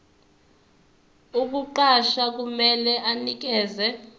ukukuqasha kumele anikeze